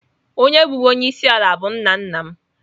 Onye bụbu onye isi ala bụ nna nna m.